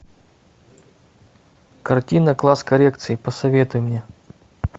картина класс коррекции посоветуй мне